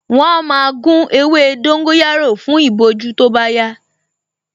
Wọ́n á máa gún ewé dóngóyárò fún ìbojú tó bá yá